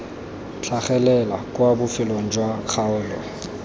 tlhagelela kwa bofelong jwa kgaolo